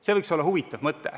See võiks olla huvitav mõte.